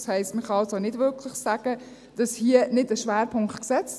Das heisst, man kann also nicht wirklich sagen, hier werde nicht ein Schwerpunkt gesetzt.